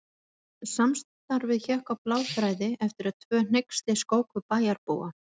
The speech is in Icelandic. Samstarfið hékk á bláþræði eftir að tvö hneyksli skóku bæjarbúa.